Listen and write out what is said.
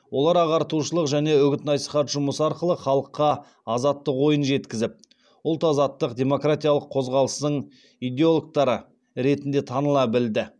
олар ағартушылық және үгіт насихат жұмысы арқылы халыққа азаттық ойын жеткізіп ұлт азаттық демократиялық қозғалыстың идеологтары ретінде таныла білді